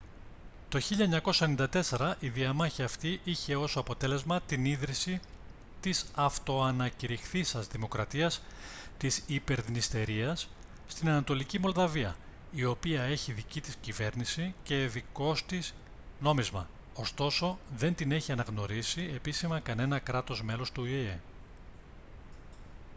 το 1994 η διαμάχη αυτή είχε ως αποτέλεσμα την ίδρυση της αυτοανακυρηχθείσας δημοκρατίας της υπερδνειστερίας στην ανατολική μολδαβία η οποία έχει δική της κυβέρνηση και δικός τη νόμισμα ωστόσο δεν την έχει αναγνωρίσει επίσημα κανένα κράτος μέλος του οηε